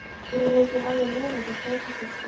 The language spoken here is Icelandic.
Þetta finnst mér alveg meiriháttar stórkostlegt.